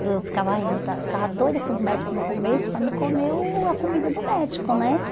Eu ficava aí, eu ficava ai eu esta ficava doida com os médicos no começo para me comer o a comida do médico, né?